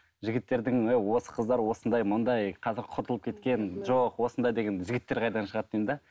жігіттердің міне осы қыздар осындай мындай қазір құртылып кеткен жоқ осындай деген жігіттер қайдан шығады деймін де